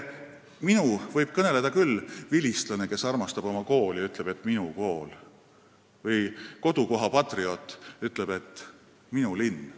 "Minu" võib öelda vilistlane, kes armastab oma kooli ja ütleb "minu kool", või kodukoha patrioot, kes ütleb "minu linn".